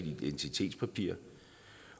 identitetspapir